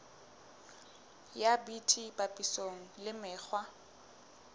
ya bt papisong le mekgwa